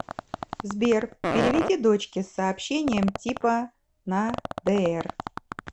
сбер переведи дочке с сообщением типа на др